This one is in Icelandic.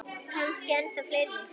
Kannski ennþá fleiri.